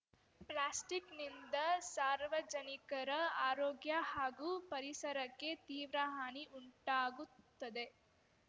ಪ್ಲಾಸ್ಟಿಕ್‌ನಿಂದ ಸಾರ್ವಜನಿಕರ ಆರೋಗ್ಯ ಹಾಗೂ ಪರಿಸರಕ್ಕೆ ತೀವ್ರ ಹಾನಿ ಉಂಟಾಗುತ್ತದೆ